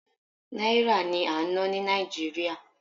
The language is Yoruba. náírà ni a n na ni nigeria